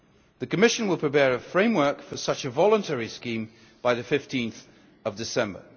summit. The Commission will prepare a framework for such a voluntary scheme by 15 December.